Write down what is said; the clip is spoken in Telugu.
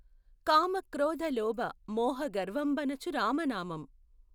కామక్రోధలోభ మోహగర్వంబణచు రామనామం